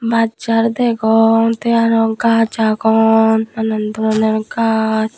bas jar degong tey aro gaaj agon nanan doronor gaaj.